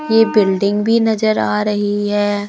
ये बिल्डिंग भी नजर आ रही है।